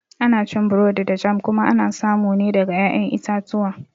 Ana cin burodi da jam kuma ana samu ne daga ƴaƴan itatuwa